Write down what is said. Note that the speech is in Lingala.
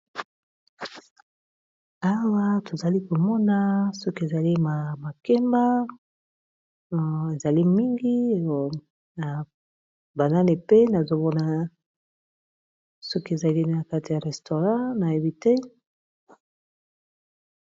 awa tozali komona soki ezali ma makemba ezali mingi oyo na baneni pe nazomona soki ezali na kati ya restaurant na yebite